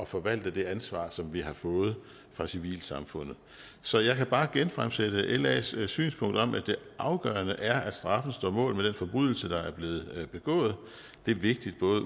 forvalte det ansvar som vi har fået fra civilsamfundet så jeg kan bare genfremsætte las synspunkt om at det afgørende er at straffen står mål med den forbrydelse der er blevet begået det er vigtigt ud